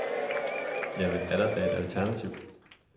Ja, men er der da et alternativ.